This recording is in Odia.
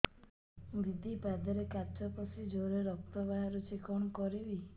ଦିଦି ପାଦରେ କାଚ ପଶି ଜୋରରେ ରକ୍ତ ବାହାରୁଛି କଣ କରିଵି